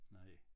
Nej